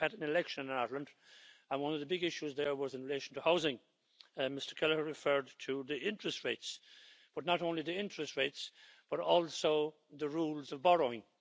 We have had an election in Ireland and one of the big issues there was in relation to housing. Mr Kelleher referred to the interest rates, but not only the interest rates, but also the rules of borrowing.